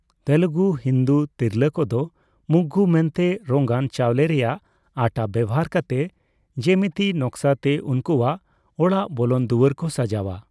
ᱛᱮᱞᱮᱜᱩ ᱦᱤᱱᱫᱩ ᱛᱤᱨᱞᱟᱹ ᱠᱚᱫᱚ ᱢᱩᱜᱽᱜᱩ ᱢᱮᱱᱛᱮ ᱨᱚᱝᱟᱱ ᱪᱟᱣᱞᱮ ᱨᱮᱭᱟᱜ ᱟᱴᱟ ᱵᱮᱣᱦᱟᱨ ᱠᱟᱛᱮ ᱡᱮᱢᱮᱛᱤ ᱱᱚᱠᱥᱟ ᱛᱮ ᱩᱱᱠᱩᱣᱟᱜ ᱚᱲᱟᱜ ᱵᱚᱞᱚᱱ ᱫᱩᱣᱟᱹᱨ ᱠᱚ ᱥᱟᱡᱟᱣᱟ ᱾